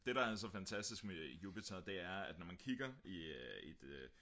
det der er så fantastisk med jupiter det er at når man kigger i et